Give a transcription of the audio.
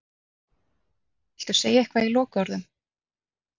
Viltu segja eitthvað í lokaorðum?